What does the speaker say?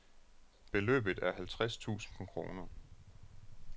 Beløbet er halvtreds tusind kroner.